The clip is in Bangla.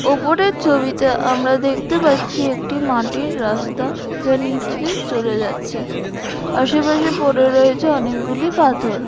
ওপরের ছবিতে আমরা দেখতে পাচ্ছি একটি মাটির রাস্তা যা নিচে চলে যাচ্ছে আশেপাশে পরে রয়েছে অনেক গুলি পাথড়।